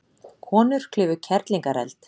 Konur klifu Kerlingareld